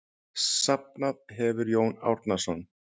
Safnað hefur Jón Árnason.